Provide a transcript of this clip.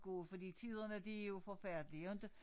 Gå fordi tiderne de jo forfærdelige inte